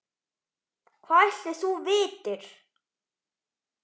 Hvað ætli þú vitir?